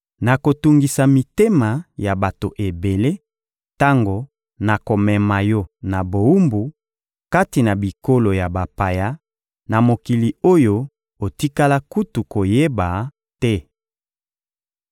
Nakotungisa mitema ya bato ebele tango nakomema yo na bowumbu kati na bikolo ya bapaya, na mikili oyo otikala kutu koyeba te.